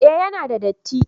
eh ya na da datti